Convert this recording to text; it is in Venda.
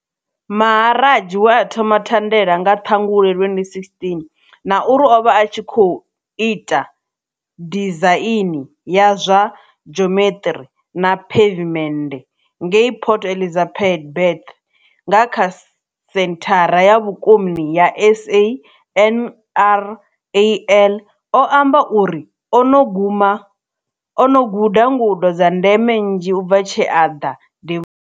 Maharaj we a thoma thandela nga Ṱhangule 2016, na uri o vha a tshi khou ita dizaini ya zwa dzhomeṱiri na phevimennde ngei Port Elizabeth kha senthara ya vhukoni ya SANRAL, o amba uri o no guda ngudo dza ndeme nnzhi u bva tshe a ḓa devhu.